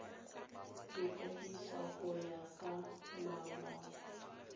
ikwadisa go ya ka molao